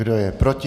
Kdo je proti?